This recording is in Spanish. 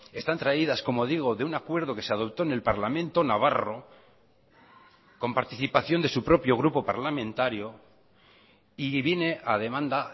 están traídas como digo de un acuerdo que se adoptó en el parlamento navarro con participación de su propio grupo parlamentario y viene a demanda